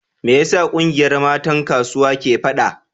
Me yasa kungiyar matan kasuwa ke fada?